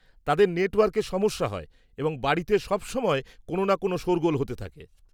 -তাদের নেটওয়ার্কে সমস্যা হয় এবং বাড়িতে সবসময় কোন না কোন শোরগোল হতে থাকে।